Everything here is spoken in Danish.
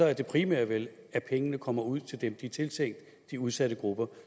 er det primære vel at pengene kommer ud til dem de er tiltænkt de udsatte grupper